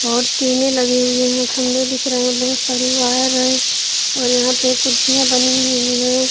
और टीनें लगे हुए है खंभे दिख रहे है बहुत सारी वायर है और यहाँ पे कुर्सियाँ बनी हुई हैं।